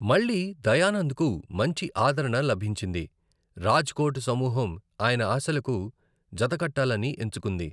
మళ్ళీ, దయానంద్కు మంచి ఆదరణ లభించింది, రాజ్ కోట్ సమూహం ఆయన ఆశలకు జతకట్టాలని ఎంచుకుంది.